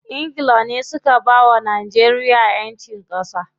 Ingila ne suka bawa Najeriya ƴancin ƙasa.